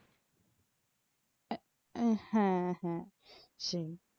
আহ হ্যাঁ হ্যাঁ সেই।